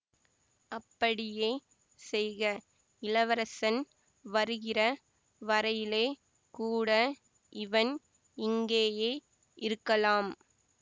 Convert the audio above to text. அப்படியே செய்க இளவரசன் வருகிற வரையிலே கூட இவன் இங்கேயே இருக்கலாம்